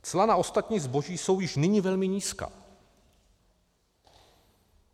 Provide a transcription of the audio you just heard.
Cla na ostatní zboží jsou již nyní velmi nízká.